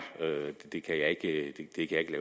det